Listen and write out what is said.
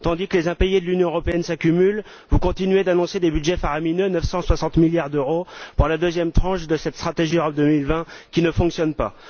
Tandis que les impayés de l'Union européenne s'accumulent, vous continuez d'annoncer des budgets faramineux 960 milliards d'euros pour la deuxième tranche de cette stratégie Europe 2020, qui ne fonctionne pas.